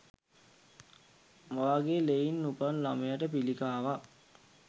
ඔයාගේ ලෙයින් උපන් ළමයට පිළිකාවක්.